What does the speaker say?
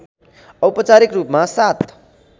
औपचारिक रूपमा ७